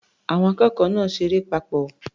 Àwọn akẹ́kọ̀ọ́ náà ṣeré papọ̀.